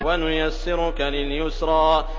وَنُيَسِّرُكَ لِلْيُسْرَىٰ